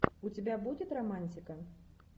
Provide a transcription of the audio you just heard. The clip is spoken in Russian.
у тебя будет романтика